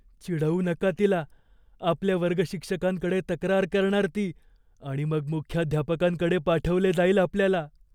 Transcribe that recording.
चिडवू नका तिला. आपल्या वर्गशिक्षकांकडे तक्रार करणार ती आणि मग मुख्याध्यापकांकडे पाठवले जाईल आपल्याला.